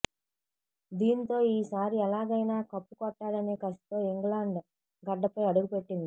దీంతో ఈసారి ఎలాగైనా కప్పు కొట్టాలనే కసితో ఇంగ్లాండ్ గడ్డపై అడుగు పెట్టింది